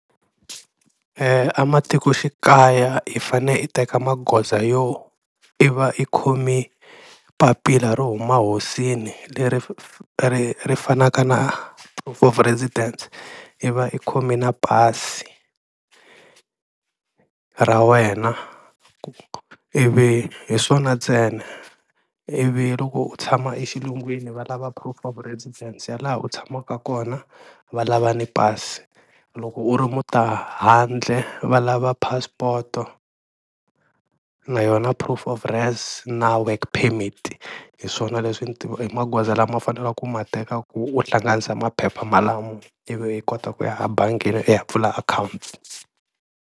Ematikoxikaya i fane i teka magoza yo i va i khomi papila ro huma hosini leri ri fanaka na proof of residence i va i khome na pasi ra wena ku ivi hi swona ntsena, ivi loko u tshama exilungwini va lava proof of presidence ya laha u tshamaka kona va lava ni pasi, loko u ri mutahandle va lava passport-o leyo na proof of res na work permit, hi swona leswi magoza lama faneleke ku ma teka ku u hlanganisa maphepha malamo ivi i kota ku ya ebangini i ya pfula akhawunti.